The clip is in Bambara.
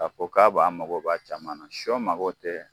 K'a fɔ ko k'a b'a ani mago ba caman na sɔ mago tɛ